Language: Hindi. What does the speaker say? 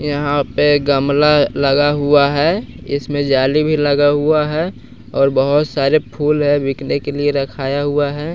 यहां पे गमला लगा हुआ है इसमें जाली भी लगा हुआ है और बहोत सारे फूल है बिकने के लिए रखाया हुआ है।